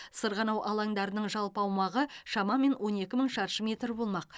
сырғанау алаңдарының жалпы аумағы шамамен он екі мың шаршы метр болмақ